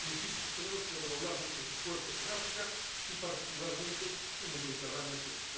Insisto, tenemos que redoblar nuestros esfuerzos en África y, particularmente, en el Mediterráneo sur.